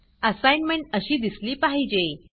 assignment अशी दिसली पाहिजे